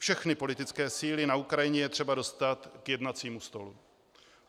Všechny politické síly na Ukrajině je třeba dostat k jednacímu stolu.